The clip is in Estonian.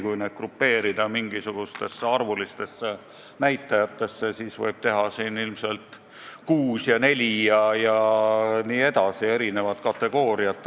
Kui võtta aluseks mingisugused arvulised näitajad, siis võib eristada neli või isegi kuus kategooriat.